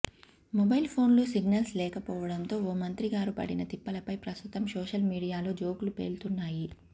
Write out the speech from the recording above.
mobile ఫోన్కు signals లేకపోవడంతో ఓ మంత్రిగారు పడిన తిప్పలపై ప్రస్తుతం సోషల్ మీడియాలో జోక్లు పేలుతున్నాయి